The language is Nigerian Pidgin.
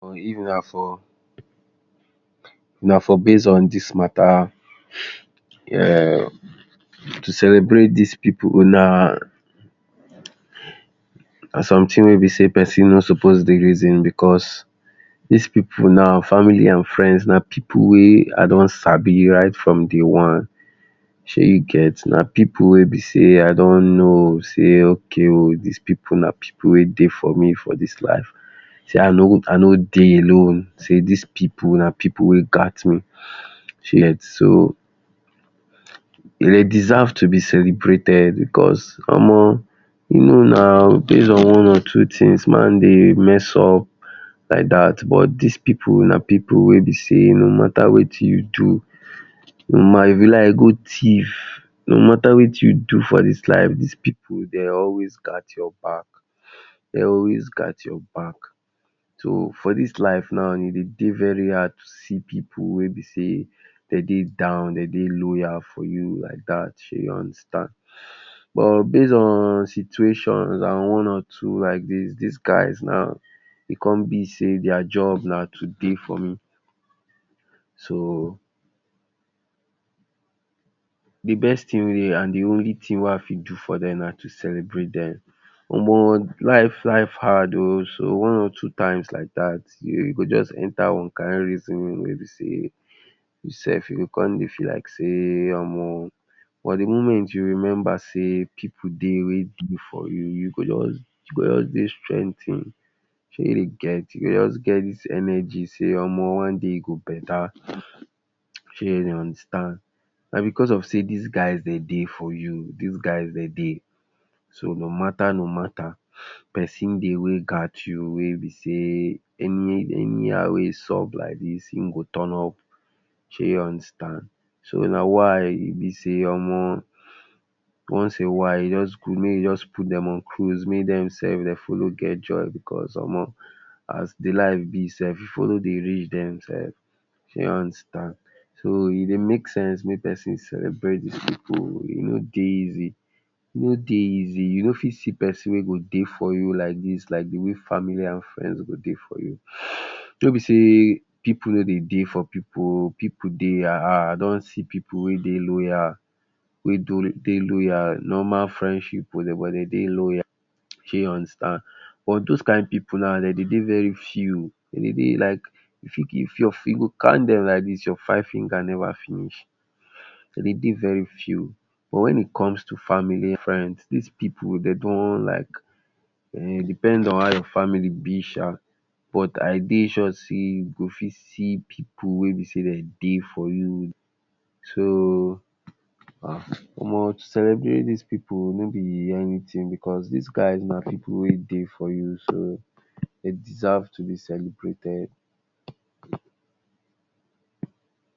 Or if na for, na for base on dis matter um to celebrate dis pipu, huna na something wey be sey pesinn no suppose dey reason because des pipu now, family and friends na pipu wey i don sabi right from day one. Shey you get? Na pipu wey be sey i don know sey okay oh. Dis pipu na pipu wey dey for me for dis life. Sey i no i no dey alone. Sey dis people na pipu wey gat me sey you get. So they deserve to be celebrated because omo you know na base on one or two things, man dey mess up like dat but dis pipu na pipu wey be sey no matter wetin you do, huma if you like go thief, no matter wetin you do for dis life, dis pipu dey always gat your back. They always gat your back. So for dis life now, e dey dey very hard to see pipu wey be sey dem dey down, dem dey loyal for you, i doubt. Shey you understand? But base on situation and one or two like dis, dis guys now, e con be sey their job na to dey for me. So, the best thing wey and the only thing wey i fit do for dem na to celebrate dem. Omo life life hard oh. So one or two times like dat, you go jus enter one kind reasoning wey be sey you self you go con dey feel like sey omo for the moment you remember sey pipu dey wey dey for you, you go just you go just dey strengthen. She you get? You go just get dis energy sey omo one day e go better. Shey you dey understand? Na because of sey dis guys dem dey for you. Dis guys dem dey. So, no matter no matter, pesin dey wey gat you wey be sey any anyhow wey e sup like dis im go turn up. Shey you understand? So na why e be sey omo once a while e just good make you just put dem on cruise. Make dem self they follow get joy because omo as the life be self, pipu no dey reach dem self. Shey you understand? So e dey make sense make person celebrate the pipu, e no dey easy. E no dey easy. You no fit see pesin wey go dey for you like dis. Like the way family and friends go dey for you. No be sey pipu no dey dey for popu oh. Pipu dey. I don see pipu wey dey loyal wey dey loyal. Normal friendship oh but dem dey loyal. Shey you understand? But dos kind pipu now dem dey dey very few. Dem dey dey very few, you go count dem like dis your five finger never finish. Den dey dey very few. But when e comes to family, friends, dis people dem don like um depend on how your family be sha but i dey sure sey you go fit see pipu wey be sey dem dey for you So, um omo to celebrate dis pipu o no be anything because dis guys na pipu wey dey for you. So they deserve to be celebrated.